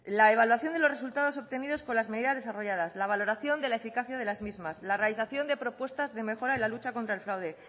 la evaluación de los resultados obtenidos con las medidas desarrolladas la valoración de la eficacia de las mismas la realización de propuestas de mejora en la lucha contra el fraude